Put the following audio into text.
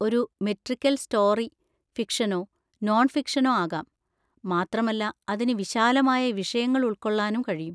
ഒരു metrical story ഫിക്ഷനോ നോൺഫിക്ഷനോ ആകാം, മാത്രമല്ല അതിന് വിശാലമായ വിഷയങ്ങൾ ഉൾക്കൊള്ളാനും കഴിയും.